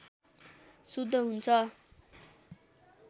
शुद्ध हुन्छ